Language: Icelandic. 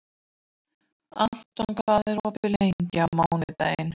Anton, hvað er opið lengi á mánudaginn?